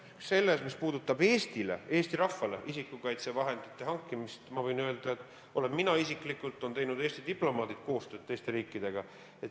Selle koha pealt, mis puudutab Eesti rahvale isikukaitsevahendite hankimist, võin öelda, et mina isiklikult olen teinud ja Eesti diplomaadid on teinud koostööd teiste riikidega.